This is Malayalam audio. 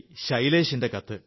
ശൈലേഷിന്റെ കത്ത്